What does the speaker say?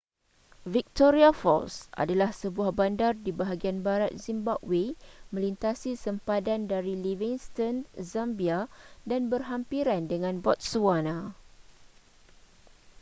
victoria falls adalah sebuah bandar di bahagian barat zimbabwe melintasi sempadan dari livingston zambia dan berhampiran dengan botswana